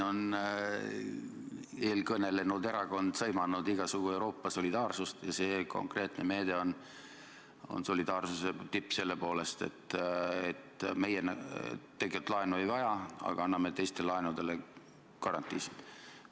Eelkõnelenud erakond on sõimanud igasugust Euroopa solidaarsust ja see konkreetne meede on solidaarsuse tipp selle poolest, et meie tegelikult laenu ei vaja, aga anname teiste laenudele garantiisid.